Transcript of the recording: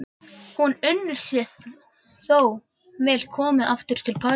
Hún unir sér þó vel komin aftur til Parísar.